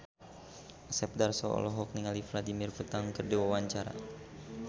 Asep Darso olohok ningali Vladimir Putin keur diwawancara